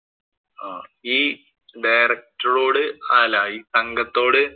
ഈ director ഓട് അല്ല ഈ സംഘത്തോട്